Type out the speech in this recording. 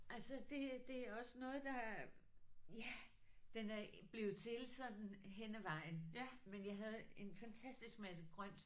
Altså det det er også noget der ja den blevet til sådan hen ad vejen men jeg havde en fantastisk masse grønt